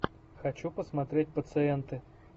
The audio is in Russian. хочу посмотреть пациенты